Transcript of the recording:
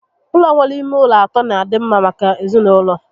Ụlọ nwere ime ụlọ atọ n'adị mma maka ezinaụlọ